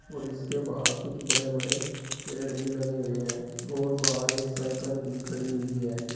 और इसके बाहर कुछ बड़े बड़े पेड़ भी लगे हुए हैं और बाहर एक साइकल भी खड़ी हुई है।